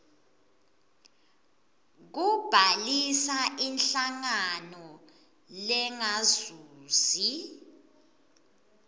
kubhalisa inhlangano lengazuzi